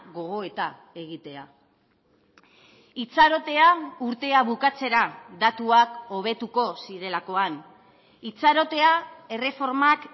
gogoeta egitea itxarotea urtea bukatzera datuak hobetuko zirelakoan itxarotea erreformak